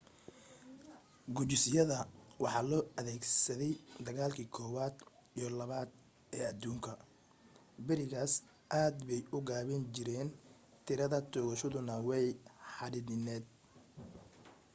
gujisyada waxa loo adeegsaday dagaalkii koobaad iyo labaad ee aduunka berigaas aad bay u gaabin jireen tiirada toogashadooduna way xaddidnayd